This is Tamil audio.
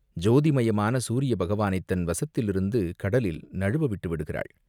ஜோதிமயமான சூரிய பகவானைத் தன் வசத்திலிருந்து கடலில் நழுவ விட்டு விடுகிறாள்.